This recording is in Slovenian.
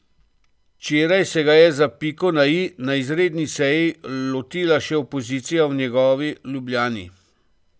Včeraj se ga je za piko na i na izredni seji lotila še opozicija v njegovi Ljubljani.